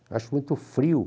Eu acho muito frio.